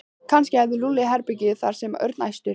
Kannski hefur Lúlli herbergi þar sagði Örn æstur.